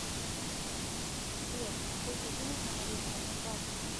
сбер сколько денег на моей основной карте